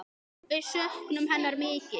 Við söknum hennar mikið.